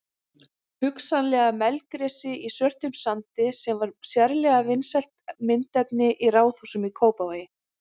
Hugsanlega melgresi í svörtum sandi sem var sérlega vinsælt myndefni í raðhúsum í Kópavogi.